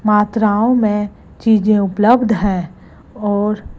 मात्राओं में चीजें उपलब्ध हैं और--